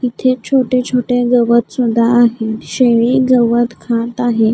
इथे छोटे छोटे गवत सुद्धा आहे शेळी गवत खात आहे.